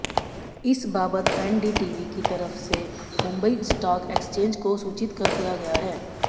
इस बाबत एनडीटीवी की तरफ से मुंबई स्टाक एक्सचेंज को सूचित कर दिया गया है